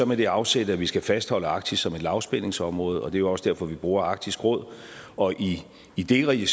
med det afsæt at vi skal fastholde arktis som et lavspændingsområde og det er også derfor vi bruger arktisk råd og i i det regi